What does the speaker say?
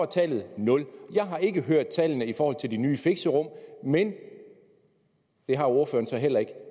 tallet nul jeg har ikke hørt tallene i forhold til de nye fixerum men det har ordføreren så heller ikke